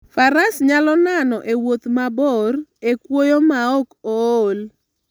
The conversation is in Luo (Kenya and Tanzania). Faras nyalo nano e wuoth mabor e kwoyo maok ool.